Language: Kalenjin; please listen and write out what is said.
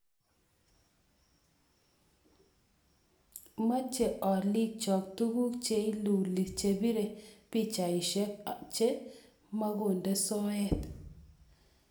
Machei oliikcho tuguk che liilu chepiree pichaisyek che makonde soet